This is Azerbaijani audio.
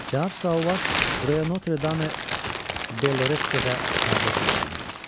Cənab Sauvaj bura Notre Dame de Lorette-də pərdəçi işləyirdi.